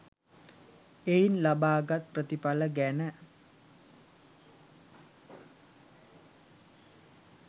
එයින් ලබාගත් ප්‍රතිඵල ගැන